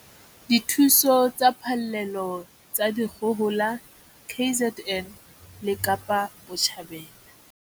Dithuso tsa phallelo tsa dikgohola KZN le Kapa Botjhabela.